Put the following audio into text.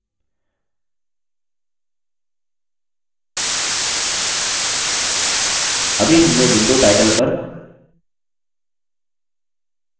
अभी हमने window title पर books data entry form नामक अपना पहला simple form बना दिया है